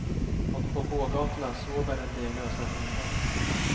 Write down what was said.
Och på gågatorna sover en del lösa hundar.